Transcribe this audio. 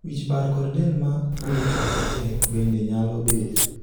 wich bar kod del ma gwecho matek bende nyalo bedo